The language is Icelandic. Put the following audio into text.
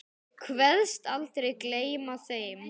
Kveðst aldrei gleyma þeim.